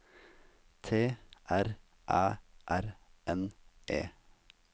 T R Æ R N E